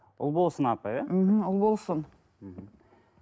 ұлболсын апай иә мхм ұлболсын мхм